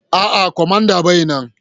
A'a, kwamandan bai nan.